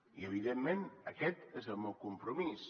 i evidentment aquest és el meu compromís